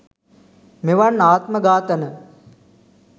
මෙවන් ආත්ම ඝාතන